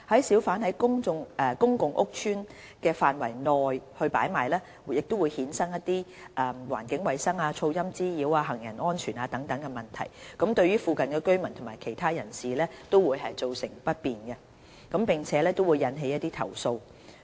小販在公共屋邨範圍內擺賣，會衍生一些環境衞生、噪音滋擾、行人安全等問題，對附近居民及其他人士造成不便，並引起投訴。